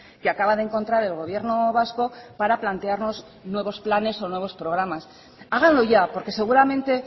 que acaba de encontrar el gobierno vasco para plantearnos nuevos planes o nuevos programas háganlo ya porque seguramente